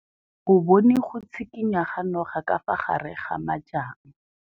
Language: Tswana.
O bone go tshikinya ga noga ka fa gare ga majang.